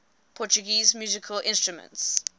portuguese musical instruments